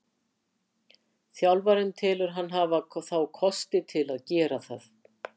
Þjálfarinn telur hann hafa þá kosti til að gera það.